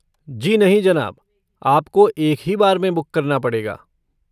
जी नहीं जनाब, आपको एक ही बार में बुक करना पड़ेगा।